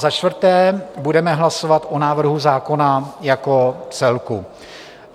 Za čtvrté budeme hlasovat o návrhu zákona jako celku.